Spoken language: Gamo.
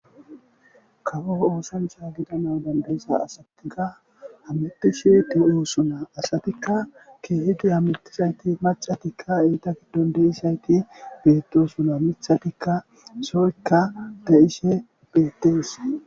Kawo oosancha gidana danda'iza asatikka hametishe de'iosona. Asatikka keehidi hamettizayti macatikka eeta giddon de'izayti beettosona. mithatikka soykka de'ishe beettees.